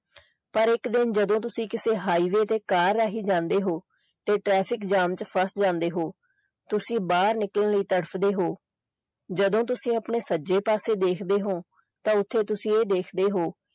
ਪਰ ਇੱਕ ਦਿਨ ਜਦੋਂ ਤੁਸੀਂ ਕਿਸੇ highway ਤੇ car ਰਾਹੀਂ ਜਾਂਦੇ ਹੋ ਤੇ traffic jam ਚ ਫੱਸ ਜਾਂਦੇ ਹੋ ਤੁਸੀਂ ਬਾਹਰ ਨਿਕਲਣ ਲਈ ਤੜਫਦੇ ਹੋ ਜਦੋ ਤੁਸੀਂ ਆਪਣੇ ਸੱਜੇ ਪਾਸੇ ਦੇਖਦੇ ਹੋ ਤੇ ਤੁਸੀਂ ਇਹ ਦੇਖਦੇ ਹੋ।